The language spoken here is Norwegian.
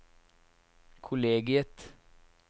kollegiet